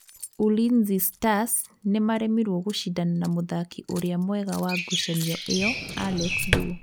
Ulinzi Stars nĩmaremirwo gũcidana na mũthaki ũria mwega wa ngũcanio ĩyo Alex Thuo.